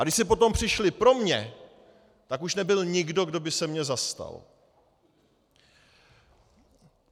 A když si potom přišli pro mě, tak už nebyl nikdo, kdo by se mě zastal.